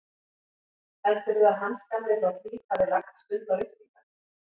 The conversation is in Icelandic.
Heldurðu að Hans gamli frá Hlíð hafi lagt stund á lyftingar?